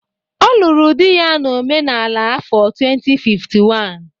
Ọ lụrụ di ya na omenala n'afọ 2051.